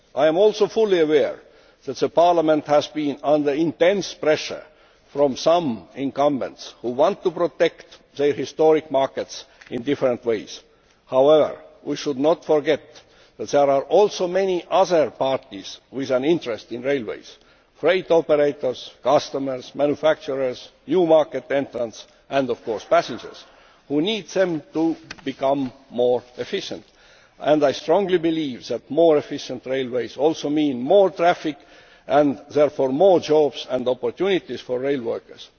I am also fully aware that Parliament has been under intense pressure from some incumbents who want to protect their historic markets in different ways. However, we should not forget that there are also many other parties with an interest in railways freight operators, customers, manufacturers, new market entrants and, of course, passengers who need them to become more efficient. And I strongly believe that more efficient railways also mean more traffic and therefore more jobs and opportunities for rail workers.